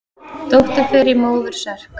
Dóttir fer í móður serk.